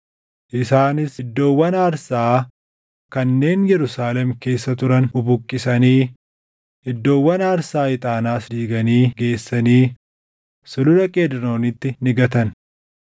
Isaanis iddoowwan aarsaa kanneen Yerusaalem keessa turan bubuqqisanii, iddoowwan aarsaa ixaanaas diiganii geessanii Sulula Qeedroonitti ni gatan.